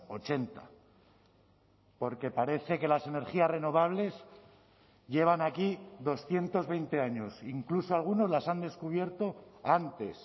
ochenta porque parece que las energías renovables llevan aquí doscientos veinte años incluso algunos las han descubierto antes